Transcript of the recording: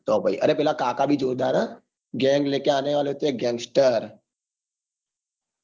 તો પાહી અરે પેલા કાકા ભી જોતા હતા ગેંગ લેકે આને વાલે થે gangster